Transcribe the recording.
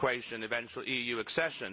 Frau Präsidentin, Herr